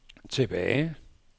tilbage